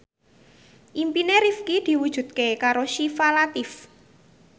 impine Rifqi diwujudke karo Syifa Latief